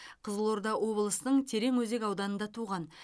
қызылорда облысының тереңөзек ауданында туған